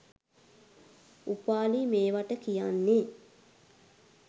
උපාලි මේවට කියන්නෙ